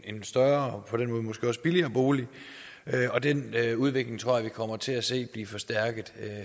en større og måske også billigere bolig og den udvikling tror jeg vi kommer til at se blive forstærket